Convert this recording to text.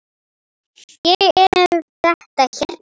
Ég er með þetta hérna.